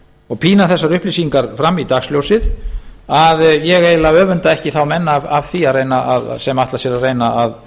og pína þessar upplýsingar fram í dagsljósið að ég eiginlega öfunda ekki þá menn af því að ætla sér að reyna að